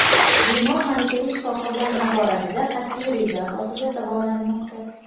Bemor malakali shifokorlar nazoratida qat’iy reja asosida davolanmoqda.